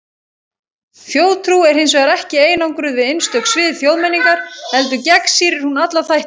Þjóðtrú er hins vegar ekki einangruð við einstök svið þjóðmenningar, heldur gegnsýrir hún alla þætti.